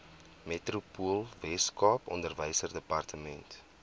metropoolsuid weskaap onderwysdepartement